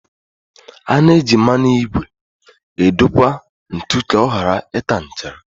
A na eji mmanụ ígwè edokwa ntu ka ọ ghara ịta nchara